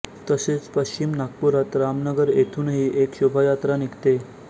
तसेच पश्चिम नागपुरात रामनगर येथूनही एक शोभायात्रा निघते